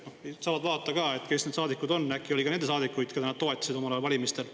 saavad vaadata, kes need saadikud on, äkki on seal ka neid saadikuid, keda nad toetasid omal ajal valimistel.